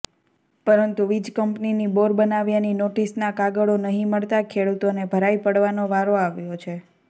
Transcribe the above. પરંતુ વિજકંપનીની બોર બનાવ્યાની નોટીસનાં કાગળો નહી મળતાં ખેડુતોને ભરાઇ પડવાનો વારો આવ્યો છે